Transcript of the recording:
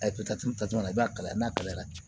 A ye ta cogo min na i b'a kalaya n'a kalayara